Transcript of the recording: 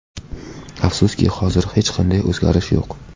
Afsuski, hozircha hech qanday o‘zgarish yo‘q.